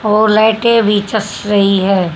और लाइटें भी चस्स रही है।